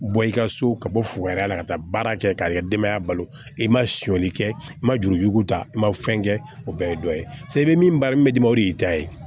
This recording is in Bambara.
Bɔ i ka so ka bɔ fukɛnɛya la ka taa baara kɛ k'a ka denbaya balo i ma sɔni kɛ i ma juruko ta i ma fɛn kɛ o bɛɛ ye dɔ ye i bɛ min ba min bɛ d'i ma o de y'i ta ye